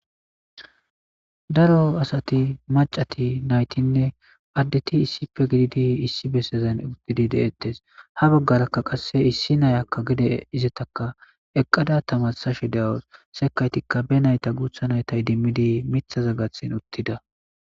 Daro asati macati naytinne addeti issife gididi issi bessezen didi deettes ha baggarakka qasse issi nayakka gide izataka eqqada tamasashe dewo sekaytikka be nayta guutha naytay dimmidi mithaza gathin uttida.